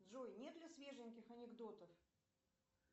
джой нет ли свеженьких анекдотов